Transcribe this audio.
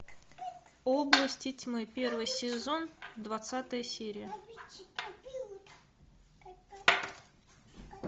области тьмы первый сезон двадцатая серия